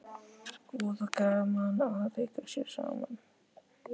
Voða gaman að leika sér saman